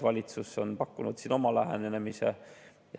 Valitsus on pakkunud siin oma lähenemise.